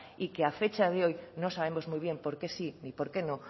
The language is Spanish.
y que a fecha de hoy no sabemos muy bien por qué sí ni por qué no